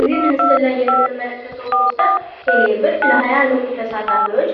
እዚህ ምስሉ ላይ የምንመለከተው ፖስተር ቴሌብር ለሀያ ንቁ ተሳታፊዎች